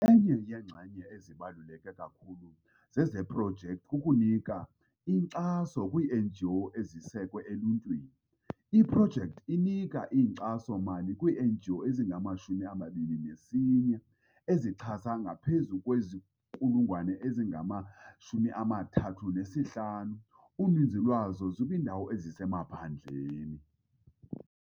Enye yeenxenye ezibaluleke kakhulu zeprojekthi kukunika inkxaso kwii-NGO ezisekwe eluntwini. Iprojekthi inika inkxaso-mali kwii-NGO ezingama-21 ezixhase ngaphezu kwezigulana ezingama-3500, uninzi lwazo lukwiindawo ezisemaphandleni.